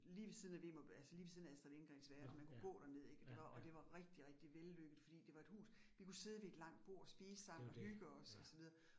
Lige ved siden af altså lige ved siden af Astrid Lindgrens verden, man kunne gå derned ik og det var og det var rigtig rigtig vellykket fordi det var et hus, vi kunne sidde vet et langt bord, spise sammen og hygge os og så videre